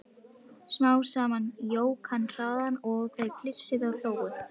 Smám saman jók hann hraðann og þau flissuðu og hlógu.